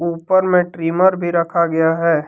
ऊपर में ट्रिमर भी रखा गया है।